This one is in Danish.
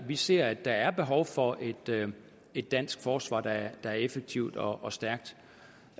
vi ser at der er behov for et dansk forsvar der er effektivt og og stærkt